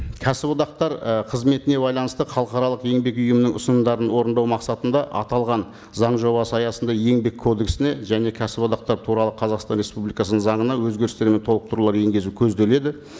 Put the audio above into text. кәсіподақтар і қызметіне байланысты халықаралық еңбек ұйымының ұсынымдарын орындау мақсатында аталған заң жобасы аясында еңбек кодексіне және кәсіподақтар туралы қазақстан республикасының заңына өзгерістер мен толықтырулар енгізу көзделеді